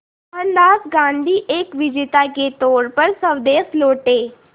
मोहनदास गांधी एक विजेता के तौर पर स्वदेश लौटे